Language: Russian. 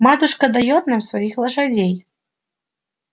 матушка даёт нам своих лошадей